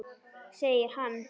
Segir hann.